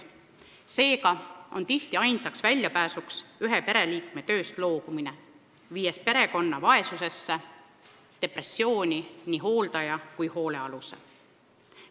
Seega on tihti ainsaks väljapääsuks ühe pereliikme tööst loobumine, mis viib perekonna vaesusesse ning nii hooldaja kui ka hoolealuse depressiooni.